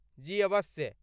जी अवश्य।